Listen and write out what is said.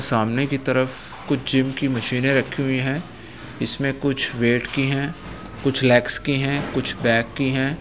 सामने की तरफ कुछ जिम की मशीनें रखी हुई हैं इसमें कुछ वेट की है कुछ लेग्स की है कुछ बैक की हैं।